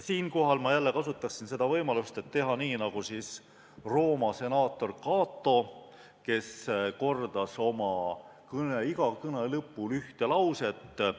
Siinkohal ma jälle kasutaksin võimalust teha nii nagu Rooma senaator Cato, kes kordas iga oma kõne lõpul ühte lauset.